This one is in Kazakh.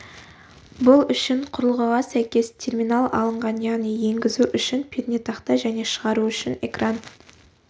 бұл үшін құрылғыға сәйкес терминал алынған яғни енгізу үшін пернетақта және шығару үшін экран